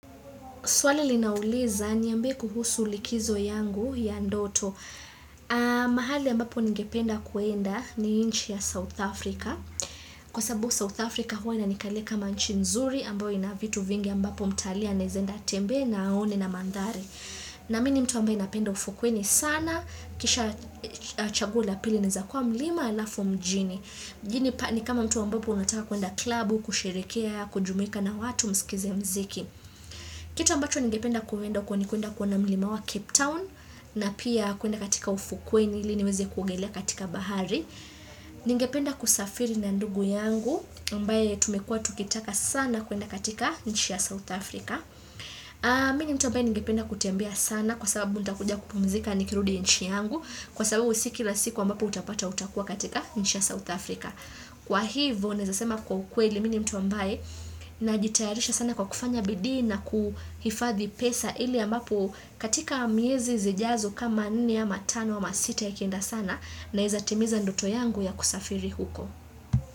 Swali linauliza niambie kuhusu likizo yangu ya ndoto. Mahali ambapo nigependa kuenda ni nchi ya South Africa. Kwa sababu South Africa huwa inanikalia kama nchi nzuri ambayo ina vitu vingi ambapo mtalii anaweza enda atembee na aone na mandhari. Na mimi ni mtu ambayo napenda ufukweni sana. Kisha chaguo la pili linawezakuwa mlima alafu mjini. Mjini ni kama mtu ambapo unataka kuenda klabu, kushirehekea, kujumuika na watu msikize mziki. Kitu ambacho nigependa kuenda huko ni kuenda kuona milimawa Cape Town na pia kuwenda katika ufukuweni ili niweze kuogelea katika bahari. Nigependa kusafiri na ndugu yangu ambaye tumekua tukitaka sana kuenda katika nchi ya South Africa. Mini mtu ambayo nigependa kutembea sana kwa sababu nitakuja kupumzika nikirudi nchi yangu kwa sababu sii kila siku ambapo utapata utakua katika nchi ya South Africa. Kwa hivo nawezasema kwa ukweli mimi ni mtu ambaye najitayarisha sana kwa kufanya bidi na kuhifadhi pesa ili ambapo katika miezi zijazo kama nne ama tano ama sita ikienda sana nawezatimiza ndoto yangu ya kusafiri huko.